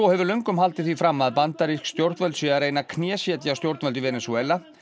hefur löngum haldið því fram að bandarísk stjórnvöld séu að reyna að knésetja stjórnvöld í Venesúela